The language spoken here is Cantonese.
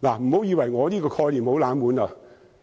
大家不要以為我這概念很"冷門"，在